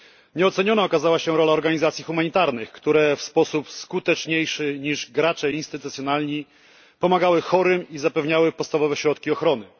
Nieoceniona okazała się rola organizacji humanitarnych, które w sposób skuteczniejszy niż gracze instytucjonalni pomagały chorym i zapewniały podstawowe środki ochrony.